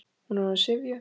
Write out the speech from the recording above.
Hún er orðin syfjuð.